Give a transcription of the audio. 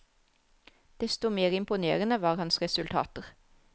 Desto mer imponerende var hans resultater.